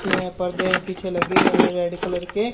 पर्दे पीछे लगे हुए है रेड कलर के--